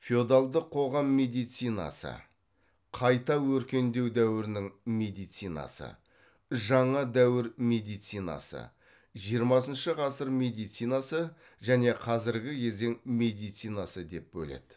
феодалдық қоғам медицинасы қайта өркендеу дәуірінің медицинасы жаңа дәуір медицинасы жиырмасыншы ғасыр медицинасы және қазіргі кезең медицинасы деп бөледі